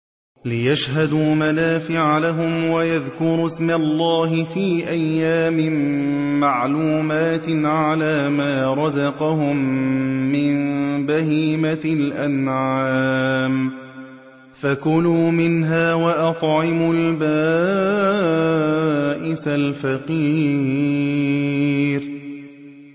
لِّيَشْهَدُوا مَنَافِعَ لَهُمْ وَيَذْكُرُوا اسْمَ اللَّهِ فِي أَيَّامٍ مَّعْلُومَاتٍ عَلَىٰ مَا رَزَقَهُم مِّن بَهِيمَةِ الْأَنْعَامِ ۖ فَكُلُوا مِنْهَا وَأَطْعِمُوا الْبَائِسَ الْفَقِيرَ